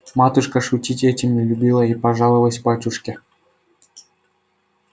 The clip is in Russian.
матушка шутить этим не любила и пожаловалась батюшке